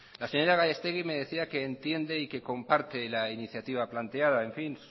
la señora gallastegui me decía que entiende y que comparte la iniciativa planteada en fin